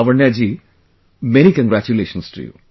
Lavanya ji many congratulations to you